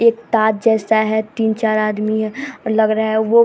एक ताज जैसा है तीन-चार आदमी है लग रहा है वो --